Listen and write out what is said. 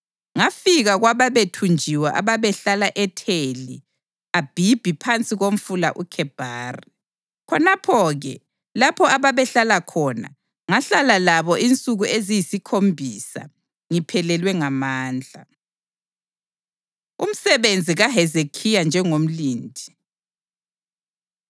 Ngafika kwababethunjiwe ababehlala eTheli Abhibhi phansi koMfula uKhebhari. Khonapho-ke, lapho ababehlala khona, ngahlala labo insuku eziyisikhombisa ngiphelelwe ngamandla. Umsebenzi kaHezekhiya Njengomlindi